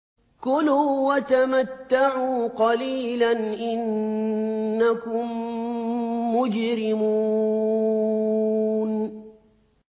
كُلُوا وَتَمَتَّعُوا قَلِيلًا إِنَّكُم مُّجْرِمُونَ